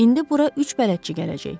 İndi bura üç bələdçi gələcək.